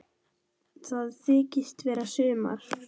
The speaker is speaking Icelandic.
Það þykist vera sumar.